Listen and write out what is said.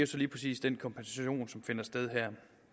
så lige præcis den kompensation som finder sted her